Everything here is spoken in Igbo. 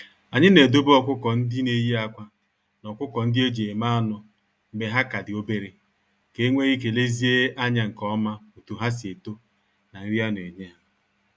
Anyị na edobe ọkụkọ-ndị-neyi-ákwà, na ọkụkọ-ndị-eji-eme-anụ mgbe ha ka di obere, ka enwee ike lezie anya nke oma otu ha si eto, na nri a na enye ha.